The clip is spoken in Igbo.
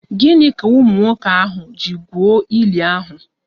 Gịnị ka ụmụ nwoke ahụ ji gwuo ili ahụ?